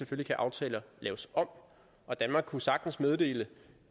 kan aftaler laves om og danmark kunne sagtens meddele